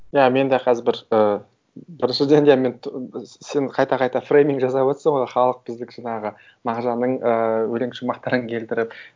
иә мен де қазір бір ы бір сөзден де мен сен қайта қайта фрейминг жасап отырсың ғой халық біздікі жаңағы мағжанның ы өлең шумақтарын келтіріп